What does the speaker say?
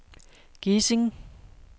Gesing